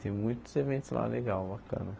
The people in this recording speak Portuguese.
Tem muitos eventos lá, legal, bacana.